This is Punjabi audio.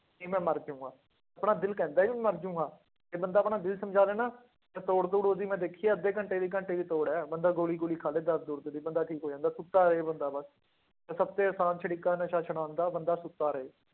ਨਹੀਂ ਮੈਂ ਮਰ ਜਾਵਾਂਗਾ, ਆਪਣਾ ਦਿਲ ਕਹਿੰਦਾ ਹੈ ਵੀ ਮਰ ਜਾਊਂਗਾ, ਇਹ ਬੰਦਾ ਆਪਣਾ ਦਿਲ ਸਮਝਾ ਲਏ ਨਾ, ਇਹ ਤੋੜ ਤੂੜ ਉਹਦੀ ਮੈਂ ਦੇਖੀ ਆ ਅੱਧੇ ਘੰਟੇ ਦੀ ਘੰਟੇ ਦੀ ਤੋੜ ਹੈ ਬੰਦਾ ਗੋਲੀ ਗੋਲੀ ਖਾ ਲਏ ਦਰਦ ਦੁਰਦ ਦੀ ਬੰਦਾ ਠੀਕ ਹੋ ਜਾਂਦਾ, ਸੁੱਤਾ ਰਹੇ ਬੰਦਾ ਬਸ, ਤਾਂ ਸਭ ਤੋਂ ਆਸਾਨ ਤਰੀਕਾ ਨਸ਼ੇ ਛੁਡਾਉਣ ਦਾ ਬੰਦਾ ਸੁੱਤਾ ਰਹੇ।